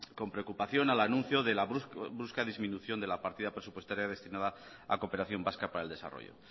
con preocupación al anuncio de la brusca disminución de la partida presupuestaria destinada a cooperación vasca para el desarrollo